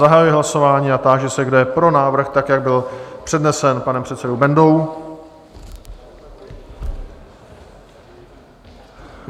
Zahajuji hlasování a táži se, kdo je pro návrh, tak jak byl přednesen panem předsedou Bendou?